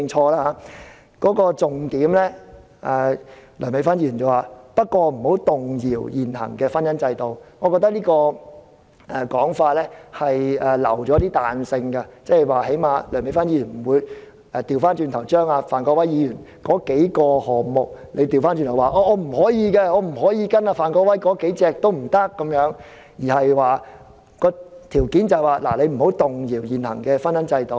而梁美芬議員修正案的重點是"不能動搖現行的婚姻制度"，我覺得這種說法已留有彈性，即梁美芬議員不會反對范國威議員提出的數項建議，因為她的條件只是不能動搖現行的婚姻制度。